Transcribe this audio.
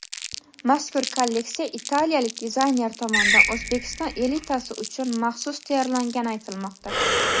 Mazkur kolleksiya italiyalik dizayner tomonidan O‘zbekiston elitasi uchun maxsus tayyorlangani aytilmoqda.